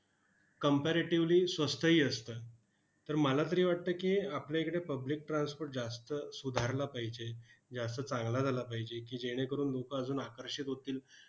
Comparatively स्वस्तही असतं. तर मला तरी वाटतं की, आपल्या इकडे public transport जास्त सुधारला पाहिजे, जास्त चांगला झाला पाहिजे की, जेणेकरून लोकं अजून आकर्षित होतील